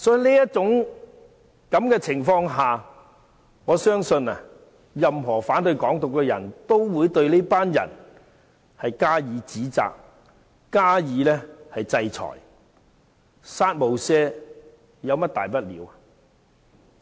所以，在這種情況下，我相信任何反對"港獨"的人，也會對這群人加以指責、加以制裁，"殺無赦"有何大不了？